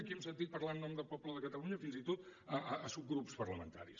aquí hem sentit parlar en nom del poble de catalunya fins i tot a subgrups parlamentaris